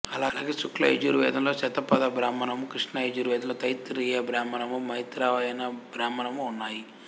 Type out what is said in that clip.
అలాగే శుక్ల యజుర్వేదంలో శతపథబ్రాహ్మణము కృష్ణ యజుర్వేదంలో తైత్తిరీయ బ్రాహ్మణము మైత్రాయణ బ్రాహ్మణము ఉన్నాయి